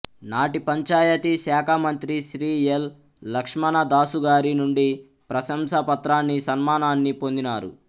నాటి పంచాయతీ శాఖామంత్రి శ్రీ ఎల్ లక్ష్మణదాసుగారి నుండి ప్రశంసాపత్రాన్నీ సన్మానాన్నీ పొందినారు